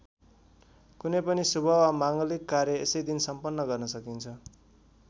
कुनै पनि शुभ वा माङ्गलिक कार्य यसै दिन सम्पन्न गर्न सकिन्छ।